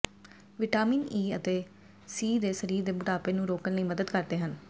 vitamin E ਅਤੇ C ਸਰੀਰ ਦੇ ਬੁਢਾਪੇ ਨੂੰ ਰੋਕਣ ਲਈ ਮਦਦ ਕਰਦੇ ਹਨ